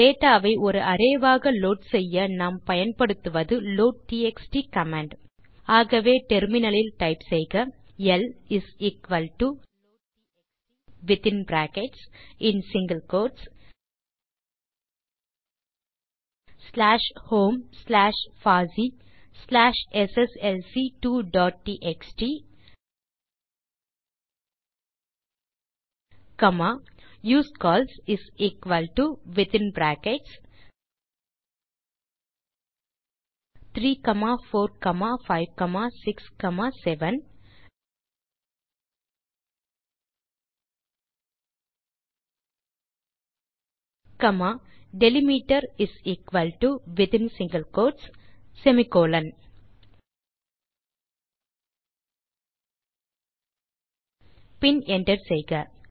data ஐ ஒரு array ஆக லோட் செய்ய நாம் பயன்ப்டுத்துவது லோட்ட்எக்ஸ்ட் கமாண்ட் ஆகவே டெர்மினல் லில் டைப் செய்க L is equal to loadtxt within brackets single quotes slash home slash பாசி slash SSLC two dot TXT comma usecols is equal to within brackets 34567 comma delimiter is equal to within single quotes semicolon பின் enter செய்க